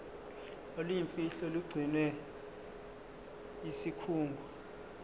oluyimfihlo olugcinwe yisikhungo